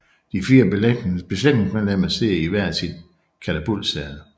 De fire besætningsmedlemmer sidder i hvert sit katapultsæde